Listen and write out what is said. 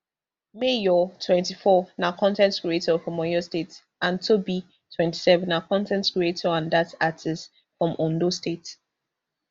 mayor twenty-four na con ten t creator from oyo state and toby twenty-seven na con ten t creator and dance artiste from ondo state